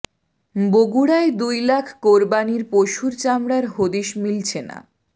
বগুড়ায় দুই লাখ কোরবানির পশুর চামড়ার হদিস মিলছে না